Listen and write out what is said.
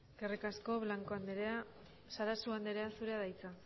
besterik ez eskerrik asko blanco andrea sarasua andrea zurea da hitza